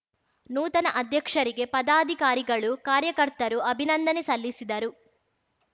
ನೂತನ ಅಧ್ಯಕ್ಷರಿಗೆ ಪದಾಧಿಕಾರಿಗಳು ಕಾರ್ಯಕರ್ತರು ಅಭಿನಂದನೆ ಸಲ್ಲಿಸಿದರು